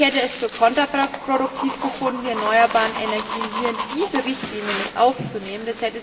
Ich hätte es für kontraproduktiv gehalten, erneuerbare Energien hier in diese Richtlinie mit aufzunehmen.